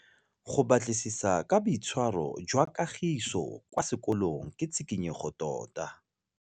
Go batlisisa ka boitshwaro jwa Kagiso kwa sekolong ke tshikinyêgô tota.